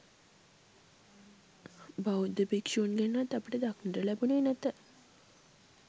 බෞද්ධ භික්ෂූන්ගෙන්වත් අපට දකින්නට ලැබුණේ නැත